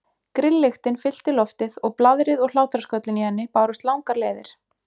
Grilllyktin fyllti loftið og blaðrið og hlátrasköllin í henni bárust langar leiðir.